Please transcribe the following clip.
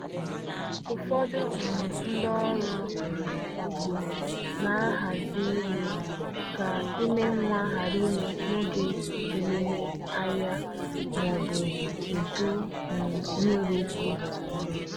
Ụfọdụ um ndị ọrụ um ugbo na-ahazi ịlụ ka ime nwa ghara ime n’oge emume ahịa ma ọ bụ udu um nmiri ukwuu.